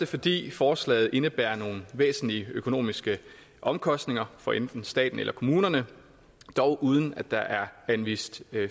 fordi forslaget indebærer nogle væsentlige økonomiske omkostninger for enten staten eller kommunerne dog uden at der er anvist